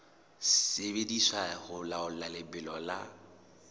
sebediswa ho laola lebelo la